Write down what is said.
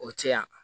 O cɛya